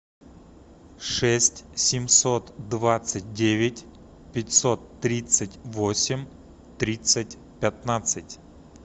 шесть семьсот двадцать девять пятьсот тридцать восемь тридцать пятнадцать